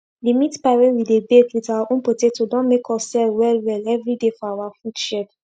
d meat pie wey we dey bake with our own potato don make us sell well well everi day for our food shed